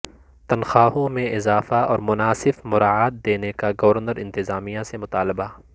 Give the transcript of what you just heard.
تنخواہوں میں اضافہ اورمناسب مراعات دینے کا گورنر انتظامیہ سے مطالبہ